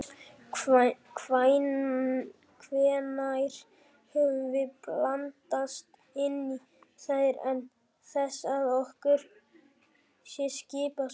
Hvenær höfum við blandast inn í þær án þess að okkur sé skipað svo?